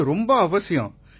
இது ரொம்ப ரொம்ப அவசியம்